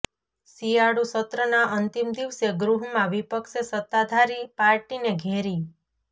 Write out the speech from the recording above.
શિયાળુ સત્રના અંતિમ દિવસે ગૃહમાં વિપક્ષે સત્તાધારી પાર્ટીને ઘેરી